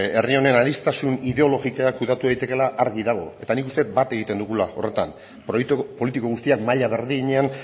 herri honen aniztasun ideologikoa kudeatu daitekeela argi dago eta nik uste dut bat egiten dugula horretan proiektu politiko guztiak maila berdinean